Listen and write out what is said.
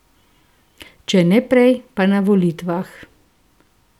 Če ne prej, pa na volitvah.